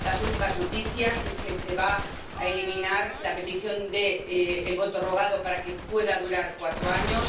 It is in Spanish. Las últimas noticias es que se va a eliminar la petición del voto rogado para que pueda durar cuatro años